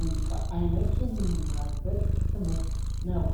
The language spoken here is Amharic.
ሙዚቃ አይነት የምንማርበት ትምህርት ነው።